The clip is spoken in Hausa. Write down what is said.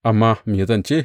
Amma me zan ce?